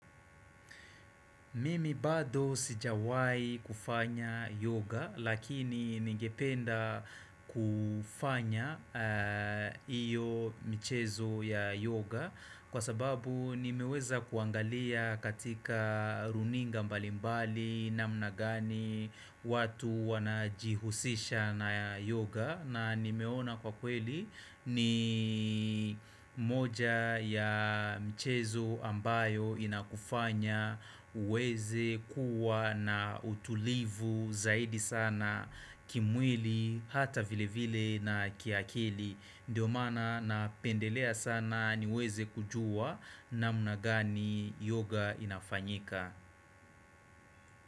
Mimi bado sijawai kufanya yoga lakini ningependa kufanya iyo mchezo ya yoga Kwa sababu nimeweza kuangalia katika runinga mbalimbali namna gani watu wanajihusisha na yoga na nimeona kwa kweli ni moja ya michezo ambayo inakufanya uweze kuwa na utulivu zaidi sana kimwili hata vile vile na kiakili Ndiyo mana na pendelea sana niweze kujua namnagani yoga inafanyika.